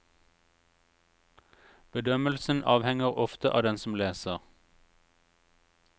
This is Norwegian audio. Bedømmelsen avhenger ofte av den som leser.